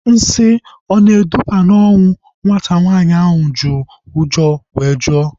Nsị ọ na-eduba na ọnwụ? Nwata nwaanyị ahu ji ụjọ were jụọ